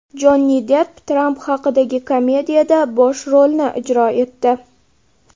Jonni Depp Tramp haqidagi komediyada bosh rolni ijro etdi.